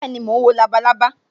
Bẹẹni, mo ń wo labalábá